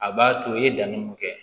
A b'a to i ye danni mun kɛ